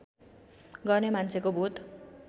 गर्ने मान्छेको भूत